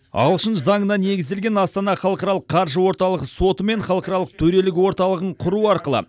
ағылшын заңына негізделген астана халықаралық қаржы орталығы соты мен халықаралық төрелік орталығын құру арқылы